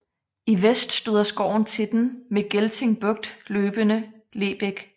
I vest støder skoven til den mod Gelting Bugt løbende Lebæk